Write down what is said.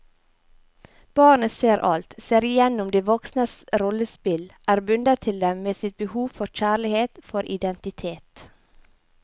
Barnet ser alt, ser igjennom de voksnes rollespill, er bundet til dem med sitt behov for kjærlighet, for identitet.